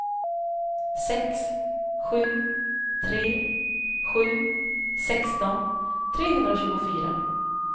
sex sju tre sju sexton trehundratjugofyra